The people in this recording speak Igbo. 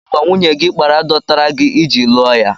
Kedụ àgwà nwunye gị kpara dọtara gị iji lụọ ya?